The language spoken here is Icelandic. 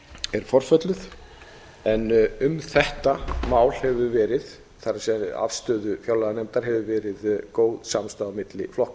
er forfölluð en um þetta mál hefur verið það er afstaða fjárlaganefndar hefur verið góð samstaða á milli flokka